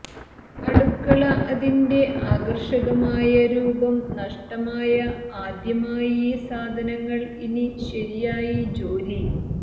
അടുക്കള അതിന്റെ ആകർഷകമായ രൂപം നഷ്ടമായ ആദ്യമായി സാധനങ്ങൾ ഇനി ശരിയായി ജോലി